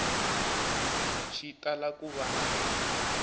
xi tala ku va na